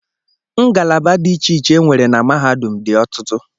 Ngalaba dị iche iche e nwere na mahadum dị ọtụtụ